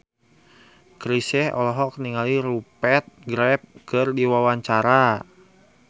Chrisye olohok ningali Rupert Graves keur diwawancara